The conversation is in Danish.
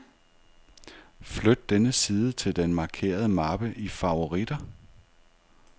Flyt denne side til den markerede mappe i favoritter.